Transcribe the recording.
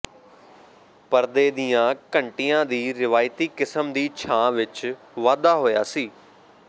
ਪਰਦੇ ਦੀਆਂ ਘੰਟੀਆਂ ਦੀ ਰਵਾਇਤੀ ਕਿਸਮ ਦੀ ਛਾਂ ਵਿੱਚ ਵਾਧਾ ਹੋਇਆ ਸੀ